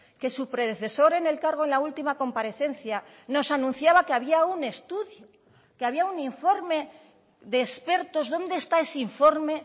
que su predecesor en el cargo en la última comparecencia nos anunciaba que había un estudio que había un informe de expertos dónde está ese informe